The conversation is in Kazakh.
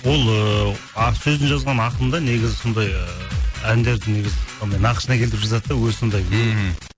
ол ыыы сөзін жазған ақын да негізі сондай ыыы әндерді негізі сондай нақышына келтіріп жазады да өзі сондай мхм